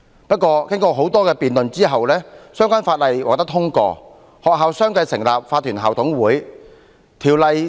不過，經過多次辯論後，《2004年教育條例》獲得通過，至今已15年，學校相繼成立法團校董會。